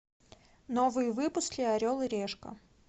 новые выпуски орел и решка